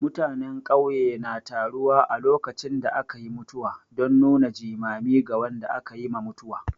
Mutanen ƙauye na taruwa a lokacin da aka yi mutuwa don nuna jimami ga wanda aka yi ma mutuwa.